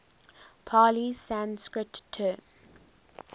pali sanskrit term